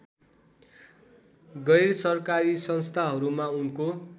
गैरसरकारी संस्थाहरूमा उनको